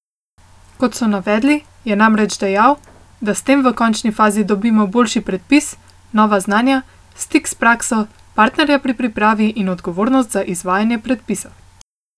Kot so navedli, je namreč dejal, da s tem v končni fazi dobimo boljši predpis, nova znanja, stik s prakso, partnerja pri pripravi in odgovornost za izvajanje predpisa.